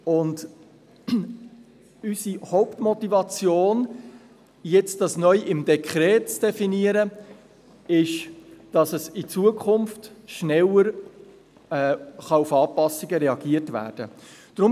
Unsere Hauptmotivation, dies jetzt neu im Dekret zu definieren, ist, dass in Zukunft schneller auf Anpassungen reagiert werden kann.